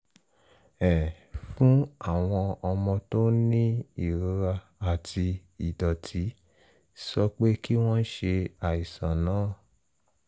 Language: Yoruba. um fún àwọn ọmọ tó ń ní ìrora àti ìdọ̀tí sọ pé kí wọ́n ṣe àìsàn náà